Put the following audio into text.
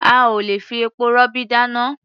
A ò lè fi epo-rọ̀bì dáná.